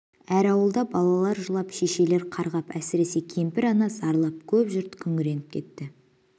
әр ауылда балалар жылап шешелер қарғап әсіресе кемпір ана зарлап көп жұрт күңіреніп кетті